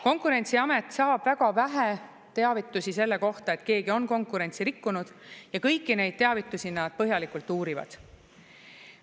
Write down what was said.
Konkurentsiamet saab väga vähe teavitusi selle kohta, et keegi on konkurentsi rikkunud, ja kõiki neid teavitusi nad põhjalikult uurivad.